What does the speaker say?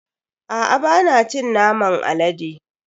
Aa bana cin naman alade.